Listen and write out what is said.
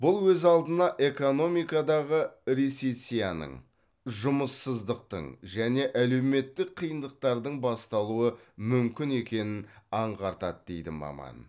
бұл өз алдына экономикадағы рецессияның жұмыссыздықтың және әлеуметтік қиындықтардың басталуы мүмкін екенін аңғартады дейді маман